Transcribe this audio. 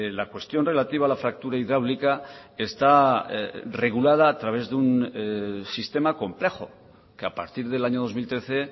la cuestión relativa a la fractura hidráulica está regulada a través de un sistema complejo que a partir del año dos mil trece